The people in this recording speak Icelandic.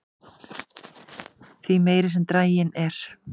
því meiri sem draginn er